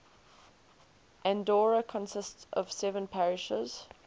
andorra consists of seven parishes